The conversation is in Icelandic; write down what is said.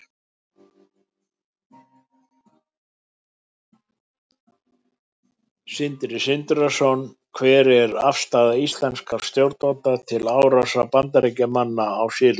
Sindri Sindrason: Hver er afstaða íslenskra stjórnvalda til árásar Bandaríkjamanna á Sýrland?